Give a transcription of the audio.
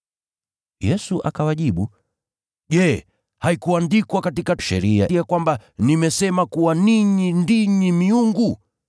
Yesu akawajibu, “Je, haikuandikwa katika Sheria ya kwamba, ‘Nimesema kuwa, ninyi ni miungu?’